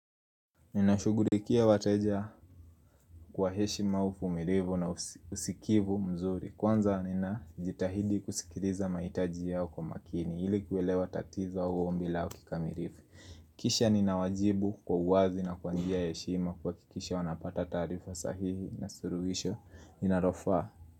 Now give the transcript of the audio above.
Ninashughulikia wateja kwa heshima uvumilivu na usikivu mzuri. Kwanza ninajitahidi kusikiliza mahitaji yao kwa makini ili kuelewa tatizo au ombi lao kikamilifu. Kisha ninawajibu kwa uwazi na kwa njia ya heshima. Kuhakikisha wanapata taarifa sahihi na suluhisho linalofaa.